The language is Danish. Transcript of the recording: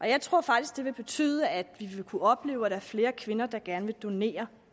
jeg tror faktisk det vil betyde at vi vil kunne opleve at flere kvinder gerne vil donere